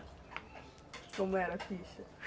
Como era a ficha?